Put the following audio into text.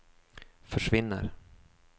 försvinner